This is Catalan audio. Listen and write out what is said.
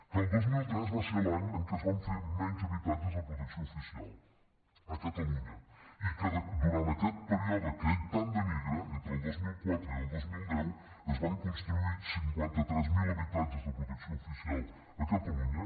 que el dos mil tres va ser l’any en què es van fer menys habitatges de protecció oficial a catalunya i que durant aquest període que ell tant denigra entre el dos mil quatre i el dos mil deu es van construir cinquanta tres mil habitatges de protecció oficial a catalunya